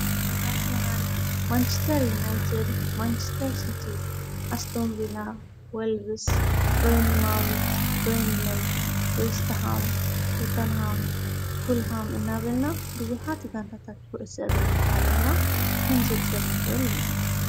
ኣርሰናል ማንስተር ዩናይተድ ማንችስተር ኢናኣስቶምቤላ ወልብስ በየኒ ማዊዝ በንለይ ወስተሃም ቶተንሃም ፉልሃም እናበልና ብዙኃት ጋንታታኽቡእሰግሪ ንይ ዓለምና ከንዝርዝርመኽርል ኢና።